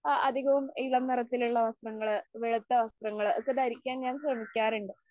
ആ അധികവും ഇളം നിറത്തിലുള്ള വസ്ത്രങ്ങള് വെളുത്ത വസ്ത്രങ്ങള് ഒക്കെ ധരിക്കാൻ ഞാൻ ശ്രമിക്കാറുണ്ട്.